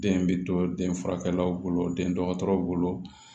Den bɛ to den furakɛlaw bolo den dɔgɔtɔrɔw bolo